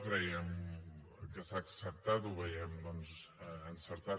creiem que s’ha acceptat ho veiem doncs encertat